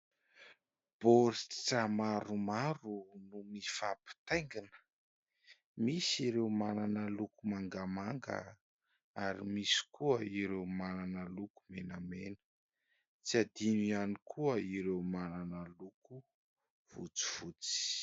Baoritra maromaro no mifampitaingina . Misy ireo manana loko mangamanga ary misy koa ireo manana loko menamena, tsy adino ihany koa ireo manana loko fotsifotsy.